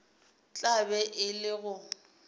tla be e le go